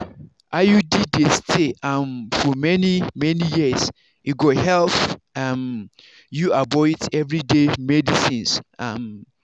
iud dey stay um for many-many years e go help um you avoid everyday medicines. um